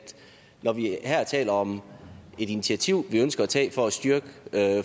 når vi her taler om et initiativ vi ønsker at tage for at styrke